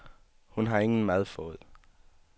Hun har ingen mad fået.